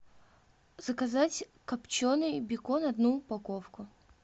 заказать копченый бекон одну упаковку